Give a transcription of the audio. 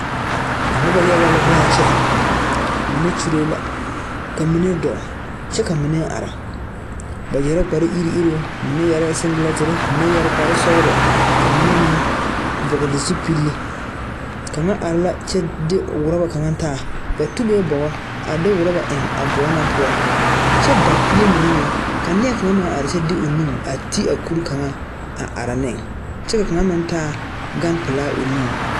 Noba yaga la be a kyɛ mine kyulee la ka mine dɔɔ kyɛ ka mine are ba yɛrɛɛ kpare iruŋ iruŋ mine yɛrɛɛ siŋgilɛŋtire ka mine yɛre kpare sɔglɔ mine meŋ vɔgle zupile kaŋa are la kyɛ de ɔrɔba kaŋa taa ba toge bogo a de rɔba eŋ a bog na poɔ kyɛ ba kuie mine meŋ ka neɛ kaŋ meŋ are kyɛ de o nu a te a kuri kaŋa a are ne kyɛ ka kaŋa meŋ taa gan pilaa o nuŋ.